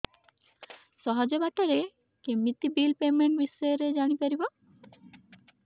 ସହଜ ବାଟ ରେ କେମିତି ବିଲ୍ ପେମେଣ୍ଟ ବିଷୟ ରେ ଜାଣି ପାରିବି